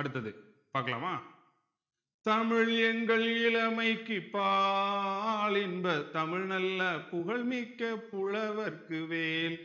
அடுத்தது பாக்கலாமா தமிழ் எங்கள் இளமைக்குப் பால் இன்பத் தமிழ் நல்லா புகழ்மிக்க புலவர்க்கு வேல்